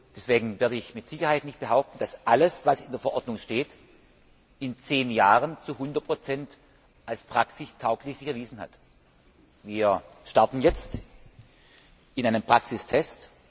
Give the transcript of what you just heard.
Deswegen werde ich mit Sicherheit nicht behaupten, dass alles, was in der Verordnung steht, sich in zehn Jahren zu 100 als praxistauglich erwiesen hat. Wir starten jetzt in einen Praxistest.